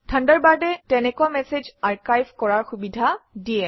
থাণ্ডাৰবাৰ্ডে তেনেকুৱা message archive কৰাৰ সুবিধা দিয়ে